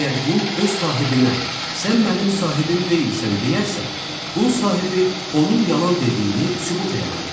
Əgər qul öz sahibinə sən mənim sahibim deyilsən deyərsə, qul sahibi onun yalan dediyini sübut eləməlidir.